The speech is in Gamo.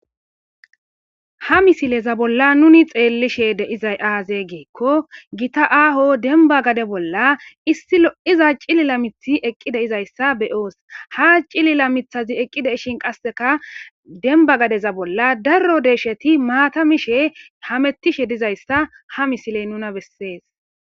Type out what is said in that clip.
ha misileza bolla nuni xeellishe deizay aaze geekko gita aaho denba gade bolla issi lo iza cilila mithi eqqi de izayssa be oos ha cilila mithazi eqqide ishin qasseka demba gadeza bolla darro deesheti maatamishe hamettishe dizayssa ha misiley nuna bessees